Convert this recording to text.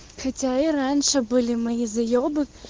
хотя и раньше были мои заебы